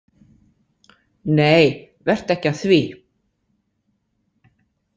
Nei vertu ekki að því.